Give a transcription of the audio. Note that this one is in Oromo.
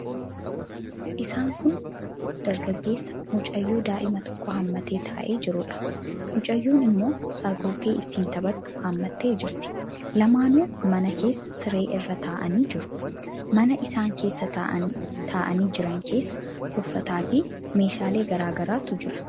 Isaan kun dargaggeessa mucayyoo daa'ima tokko hammatee taa'ee jiruudha. Mucayyoon immoo hargoggee ittiin taphattu hammattee jirti. Lamaanuu mana keessa siree irra taa'anii jiru. Mana isaan keessa taa'anii jiran keessa uffataafi meeshaalee garaa garaatu jira.